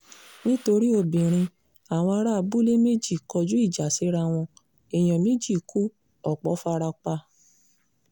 nítorí obìnrin àwọn ará abúlé méjì kọjú ìjà síra wọn èèyàn méjì ku ọ̀pọ̀ fara pa